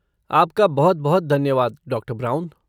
आपका बहुत बहुत धन्यवाद, डॉक्टर ब्राउन।